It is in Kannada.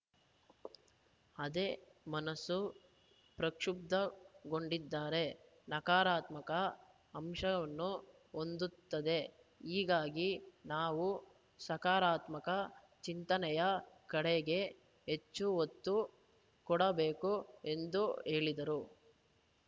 ಅದೇ ಮನಸ್ಸು ಪ್ರಕ್ಷುಬ್ಧಗೊಂಡಿದ್ದರೆ ನಕಾರಾತ್ಮಕ ಅಂಶವನ್ನು ಹೊಂದುತ್ತದೆ ಹೀಗಾಗಿ ನಾವು ಸಕಾರಾತ್ಮಕ ಚಿಂತನೆಯ ಕಡೆಗೆ ಹೆಚ್ಚು ಒತ್ತು ಕೊಡಬೇಕು ಎಂದು ಹೇಳಿದರು